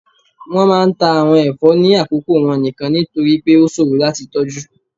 wọn máà ń ta awon ẹfọ ni akoko wọn nikan, nitori pe o ṣoro lati tọju.